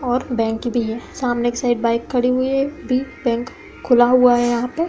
और बैंक भी है। सामने की साइड बाइक खड़ी हुई है भी। बैंक खुला हुआ है यहाँ पे ।